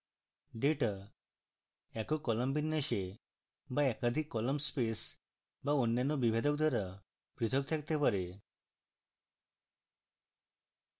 data